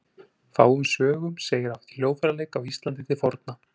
Fáum sögum segir af hljóðfæraleik á Íslandi til forna.